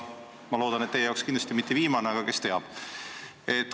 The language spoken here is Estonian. Ma loodan, et teie jaoks mitte viimane, aga kes teab.